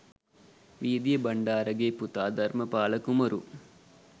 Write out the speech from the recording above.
වීදීය බණ්ඩාරගේ පුතා ධර්මපාල කුමරු